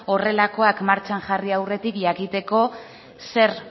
horrelakoak martxan jarri aurretik jakiteko zer